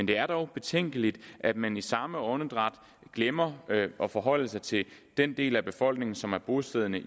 det er dog betænkeligt at man i samme åndedrag glemmer at forholde sig til den del af befolkningen som er bosiddende